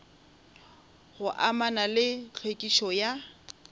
go amana le tlhwekišo ya